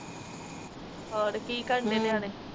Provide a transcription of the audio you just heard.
ਹੋਰ ਕੋ ਕਰਦੇ ਨਿਆਣੇ